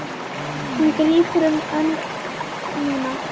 Hann grípur um hönd mína.